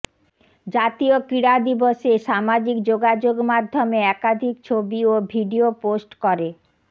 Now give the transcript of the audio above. জাতীয় ক্রীড়া দিবসে সামাজিক যোগাযোগ মাধ্যমে একাধিক ছবি ও ভিডিও পোস্ট করে